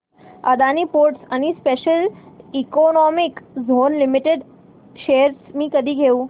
Adani ports and special economic zone limited shares मी कधी घेऊ